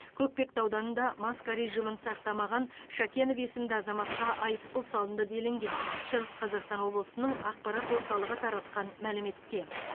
көкпекті ауданында маска режимін сақтамаған шакенов есімді азаматқа айыппұл салынды делінген шығыс қазақстан облысының ақпарат орталығы таратқан мәліметте